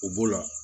U b'o la